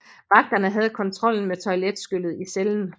Vagterne havde kontrollen med toiletskyllet i cellen